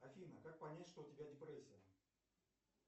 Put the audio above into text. афина как понять что у тебя депрессия